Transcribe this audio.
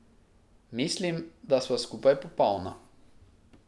Mislim, da sva skupaj popolna.